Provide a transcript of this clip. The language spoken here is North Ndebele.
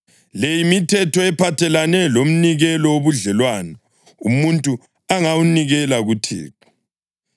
“ ‘Le yimithetho ephathelene lomnikelo wobudlelwano umuntu angawunikela kuThixo: